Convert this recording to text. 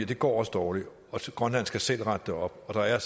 det går også dårligt og grønland skal selv rette det op der er